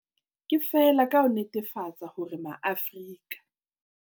Ke feela ka ho netefatsa hore Maafrika